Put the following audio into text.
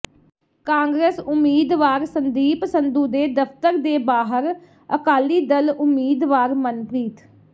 ਕਾਂਗਰਸ ਉਮੀਦਵਾਰ ਸੰਦੀਪ ਸੰਧੂ ਦੇ ਦਫਤਰ ਦੇ ਬਾਹਰ ਅਕਾਲੀ ਦਲ ਉਮੀਦਵਾਰ ਮਨਪ੍ਰੀਤ